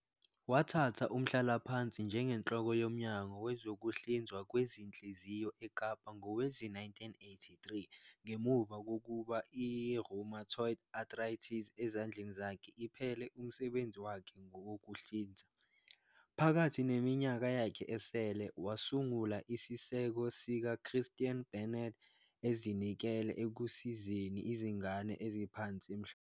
Wathatha umhlalaphansi njengenhloko yoMnyango Wezokuhlinzwa Kwezinhliziyo eKapa ngowezi-1983 ngemuva kokuba I-rheumatoid arthritis ezandleni zakhe iphele umsebenzi wakhe wokuhlinza. Phakathi neminyaka yakhe esele, wasungula isiseko siks Christian Barnard, ezinikele ekusizeni izingane eziphansi emhlabeni wonke.